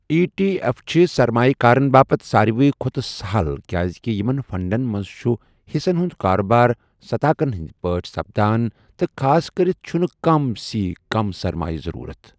ای T F چھِ سرمایہ كارن باپت سارِوٕے کھۄتہٕ سَہَل کِیازِکہِ یِمَن فَنٛڈَن مَنٛز چُھ حِصن ہُند كاربار صتاكن ہندۍ پٲٹھۍ سپدان تہٕ خاصكرِتھ چُھنہٕ كم سی كم سرمایہ ضرورت۔